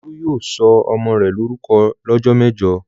Olú yóò sọ ọmọ rẹ̀ lórúkọ lọ́jọ́ mẹ́jọ!